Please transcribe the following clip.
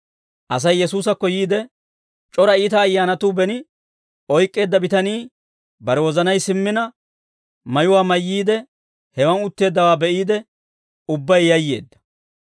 Asay Yesuusakko yiide, c'ora iita ayyaanatuu beni oyk'k'eedda bitanii bare wozanay simmina, mayuwaa mayyiide, hewaan utteeddawaa be'iide, ubbay yayyeedda.